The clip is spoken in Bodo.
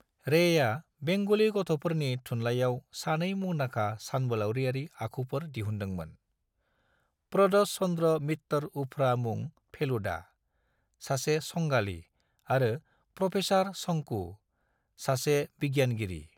रेया बेंगली गथ'फोरनि थुनलायाव सानै मुंदांखा सानबोलावरियारि आखुफोर दिहुनदोंमोन - प्रदोष चंद्र मित्तर उफ्रा मुं ​​फेलुदा, सासे संगालि, आरो प्रोफेसर शोंकू, सासे बिगियानगिरि।